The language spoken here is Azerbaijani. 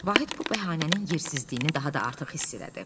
Vahid bu bəhanənin yersizliyini daha da artıq hiss elədi.